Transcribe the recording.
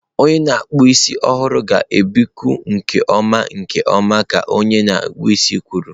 Onye na-akpụ isi ọhụrụ ga-ebipụ nke ọma nke ọma ka onye akpụ isi kwuru.